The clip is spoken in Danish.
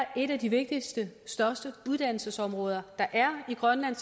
er et af de vigtigste og største uddannelsesområder der er i grønland